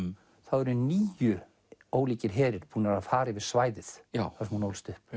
eru níu ólíkir herir búnir að fara yfir svæðið þar sem hún ólst upp